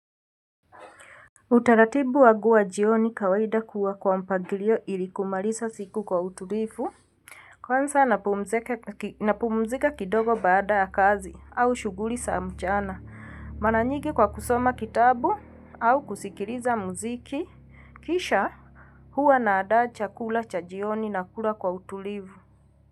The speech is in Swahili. Utaratibu wangu wa jioni kawaida kuwa kwa mpagilio ili kumaliza siku kwa utulivu. Kwanza napumzika kidogo baada ya kazi au shughuli za mchana. Mara nyingi kwa kusoma kitabu au kusikiliza muziki. Kisha huwa naandaa chakula cha jioni na kula kwa utulivu.